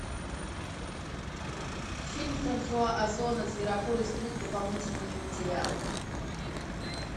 фильм франсуа озона зверополис плюс дополнительные материалы